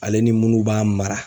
Ale ni munnu b'a mara